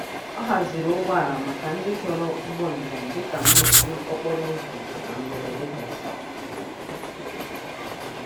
Ọ haziri ụgbọala maka ndị chọrọ ụgbọ njem dị ka mmechi okporoụzọ na mberede gasịrị.